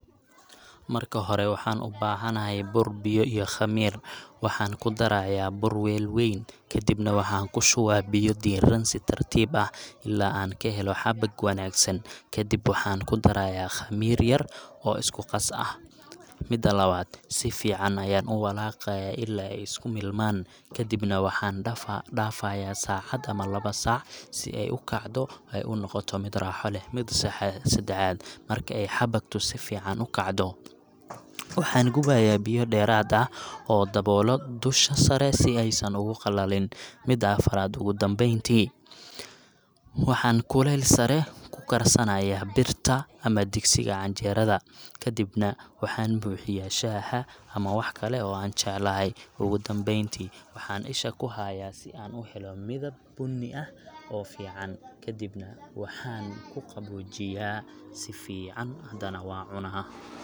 Marka hore, waxaan ubaxanaxay buur biyo iyo qamiir, waxan kudaraya buur weel weyn, kadibna waxan kushuwaya biyo diiran si tartib ah, ila an kaxelo dabag wanagsan, kadib waxaan kudaraya qamiir yar oo iskuqas ah, mida lawad sifican ayan uwalagayaaila ay iskumilman, kadibna waxan daafaya sacad ama lawa sac si ay ukacdo ay unogoto mid raxaa leh, mida sadaxad marki ay xabatu si fican ukacdo, waxa gubaya biyo deerat ah, oo dabollo dusha sare, sii ay san ogugalanin, mida afarat ogudambenti, waxam kulel si saree kukarsanaya birta ama digsiga canjerad, kadibna waxan buxiyaa shaxaxa ama wahkale oo an jeclahay, ogudambenti waxa ishaa kuxaaya, si an uxelo midab buni ah, oo fican, kadibna waxan kuqabojiya sii fican xadhana wn cunaa,